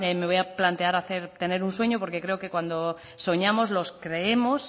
me voy a plantear hacer tener un sueño porque creo que cuando soñamos los creemos